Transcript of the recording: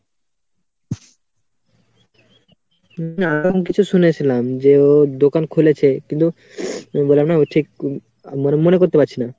না এরম কিছু শুনেছিলাম যে ও দোকান খুলেছে কিন্তু বললাম না ও ঠিক মনে ~মনে করতে পারছি না।